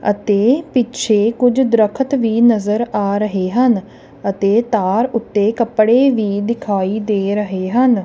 ਅਤੇ ਪਿੱਛੇ ਕੁੱਝ ਦ੍ਰਖਤ ਵੀ ਨਜ਼ਰ ਆ ਰਹੇ ਹਨ ਅਤੇ ਤਾਰ ਉੱਤੇ ਕੱਪੜੇ ਵੀ ਦਿਖਾਈ ਦੇ ਰਹੇ ਹਨ।